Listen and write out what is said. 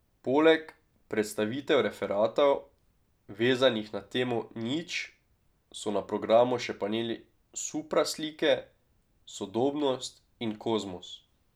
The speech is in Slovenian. Poleg predstavitev referatov, vezanih na temo Nič, so na programu še paneli Supraslike, Sodobnost in Kozmos.